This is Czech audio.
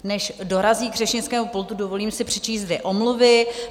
Než dorazí k řečnickému pultu, dovolím si přečíst dvě omluvy.